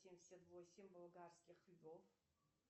семьдесят восемь болгарских львов